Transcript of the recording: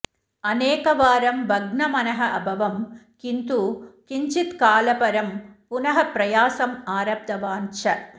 अनेकवारं भग्नमनः अभवम् किन्तु किञ्चित् कालपरं पुनः प्रयासम् आरब्धवान् च